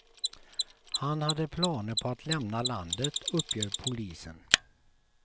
Han hade planer på att lämna landet, uppger polisen.